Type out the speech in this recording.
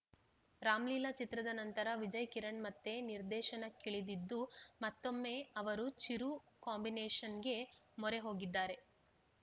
ರಾಮ್‌ಲೀಲಾ ಚಿತ್ರದ ನಂತರ ವಿಜಯ್‌ ಕಿರಣ್‌ ಮತ್ತೆ ನಿರ್ದೇಶನಕ್ಕಿಳಿದಿದ್ದು ಮತ್ತೊಮ್ಮೆ ಅವರು ಚಿರು ಕಾಂಬಿನೇಷನ್‌ಗೆ ಮೊರೆ ಹೋಗಿದ್ದಾರೆ